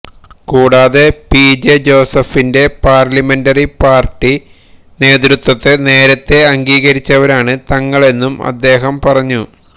കൂടാതെ P J ജോസഫിന്റെ parliamentary party നേതൃത്ത്വത്തെ നേരത്തെ അംഗീകരിച്ചവരാണ് തങ്ങളെന്നും അദ്ദേഹം പറഞ്ഞു